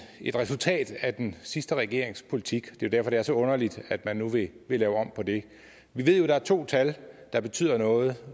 et resultat af den sidste regerings politik det er derfor det er så underligt at man nu vil lave om på det vi ved jo der er to tal der betyder noget